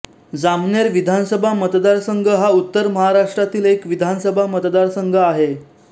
जामनेर विधानसभा मतदारसंघ हा उत्तर महाराष्ट्रातील एक विधानसभा मतदारसंघ आहे